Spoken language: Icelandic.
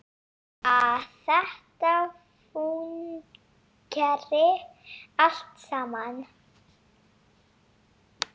Að þetta fúnkeri allt saman.